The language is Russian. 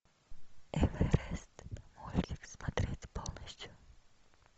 эверест мультик смотреть полностью